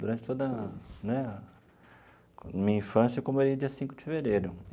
Durante toda a né a minha infância, eu comemorei dia cinco de fevereiro.